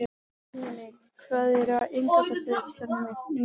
Dominik, hvað er á innkaupalistanum mínum?